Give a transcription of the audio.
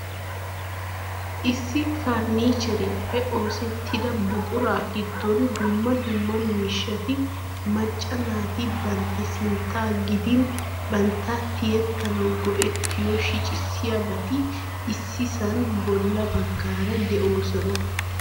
Issi farannicheriyappe oosetida buqura giddon dumma dumma miishshati macca naati bantta sintta gidin bantta tiyyetanaw go"ettiyo shiccissiyaababti issisan bolla baggaara de'oosona.